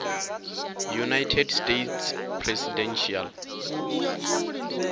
united states presidential